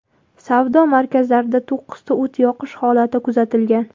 Savdo markazlarida to‘qqizta o‘t yoqish holati kuzatilgan.